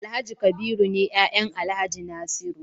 Alhaji kabiru ne yayan alhaji nasiru